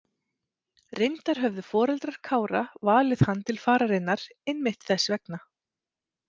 Reyndar höfðu foreldrar Kára valið hann til fararinnar einmitt þess vegna.